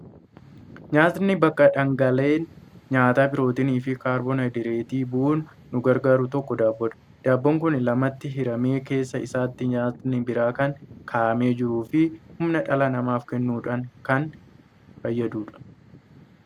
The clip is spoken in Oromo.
Nyaatni bakka dhaangaalee nyaataa pirootinii fi kaarboohaayidireetii bu'uun nu gargaaru tokko daabboodha. Daabboon kun lamatti hiramee keessa isaatti nyaatni biraan kan kaa'amee jiruu fi humna dhala namaaf kennuudhaan kan fayyadudha.